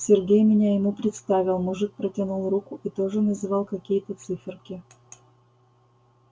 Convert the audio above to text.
сергей меня ему представил мужик протянул руку и тоже называл какие-то циферки